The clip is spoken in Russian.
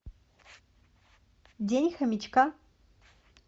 день хомячка